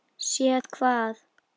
Séð hvað?